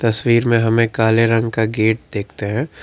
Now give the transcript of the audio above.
तस्वीर में हमें काले रंग का गेट देखते हैं।